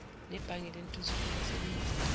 nebhange lentuthuko laseningizimu